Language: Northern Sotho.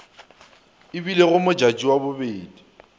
e bilego modjadji wa bobedi